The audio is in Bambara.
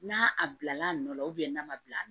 N'a a bila l'a nɔ la n'a ma bila a la